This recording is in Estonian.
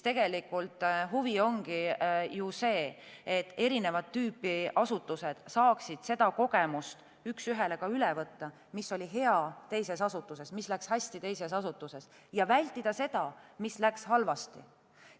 Huvi ongi ju see, et erinevat tüüpi asutused saaksid seda kogemust üks ühele üle võtta: mis oli teises asutuses hea ja läks hästi, ning vältida seda, mis läks halvasti.